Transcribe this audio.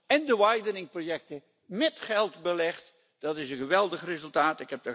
en de Widening projecten, met geld belegd dat is een geweldig resultaat.